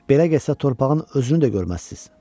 Belə getsə torpağın özünü də görməzsiz.